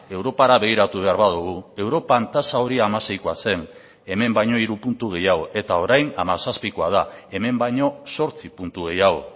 europara begiratu behar badugu europan tasa hori hamaseikoa zen hemen baino hiru puntu gehiago eta orain hamazazpikoa da hemen baino zortzi puntu gehiago